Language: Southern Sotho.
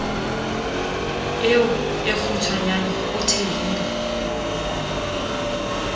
eo e kgutshwanyane o thehile